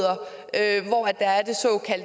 at